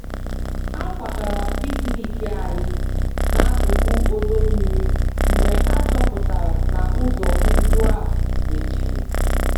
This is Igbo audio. A kwagara picnic anyị n'akụkụ ọdọ mmiri mgbe achọpụtara na ụzọ ùgwù e mechiri